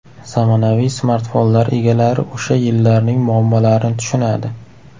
Zamonaviy smartfonlar egalari o‘sha yillarning muammolarini tushunadi.